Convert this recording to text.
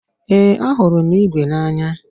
Ee, ahụrụ m ígwè n'anya